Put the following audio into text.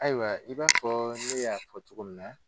Ayiwa i b'a fɔ ne y'a fɔ cogo min na.